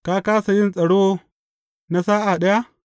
Ka kāsa yin tsaro na sa’a ɗaya?